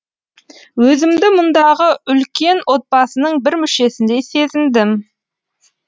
өзімді мұндағы үлкен отбасының бір мүшесіндей сезіндім